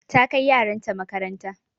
Ta kai yaran ta makaranta.